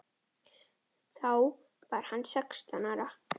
Þá var hann sextán ára.